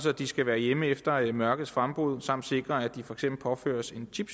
at de skal være hjemme efter mørkets frembrud samt sikre at de for eksempel påføres en chip